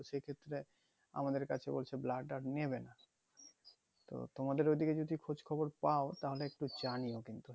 তো সেই ক্ষেত্রে আমাদের কাছে বলছে blood আর নেবেনা তোমাদের ওদিকে যদি খোঁজ খবর পাও তাহলে একটু জানিও কিন্তু